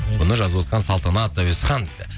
бұны жазып отқан салтанат әуесхан дейді